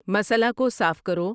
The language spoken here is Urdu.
مسئلہ کو صاف کرو